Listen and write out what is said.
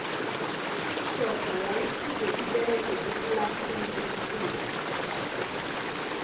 indoda yayi fuze iberge eplasini lethuwa